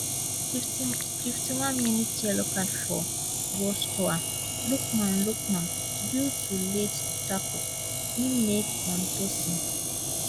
fifty one minutes yellow card for goalscorer lookman lookman due to late tackle im make on tosin